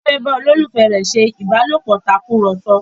Titi fè bá ololufẹ rẹ ṣe ìbálòpọ̀ Tàkùrọ̀sọ